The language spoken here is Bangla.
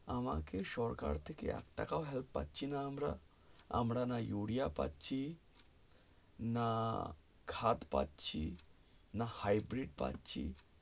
আমাকে সরকার থেকে একটাকাও help পাচ্ছি না আমরা না আমরা urea পাচ্ছি না khat পাচ্ছি না hightvit পাচ্ছি